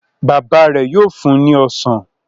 Baba rẹ yóò fún ní ọsán